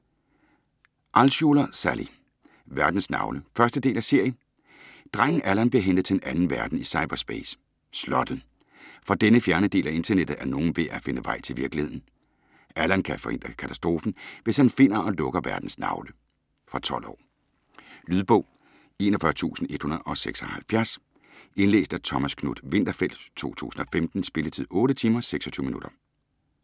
Altschuler, Sally: Verdens navle 1. del af serie. Drengen Allan bliver hentet til en anden verden i cyberspace, Slottet. Fra denne fjerne del af internettet er nogen ved at finde vej til virkeligheden. Allan kan forhindre katastrofen, hvis han finder og lukker "Verdens navle". Fra 12 år. Lydbog 41176 Indlæst af Thomas Knuth-Winterfeldt, 2015. Spilletid: 8 timer, 26 minutter.